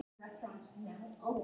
Hún ræður engu.